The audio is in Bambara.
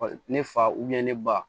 Ne fa ne ba